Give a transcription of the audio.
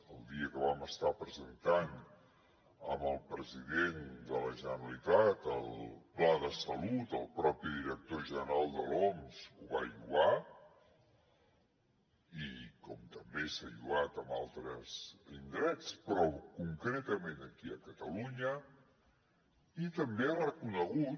el dia que vam estar presentant amb el president de la generalitat el pla de salut el propi director general de l’oms ho va lloar com també s’han lloat altres indrets però concretament aquí a catalunya i també s’ha reconegut